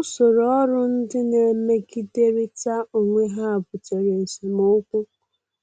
Usoro ọrụ ndị na-emegiderịta onwe ha butere esemokwu,